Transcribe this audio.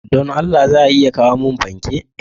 Don Allah za a iya kawo mun fanke?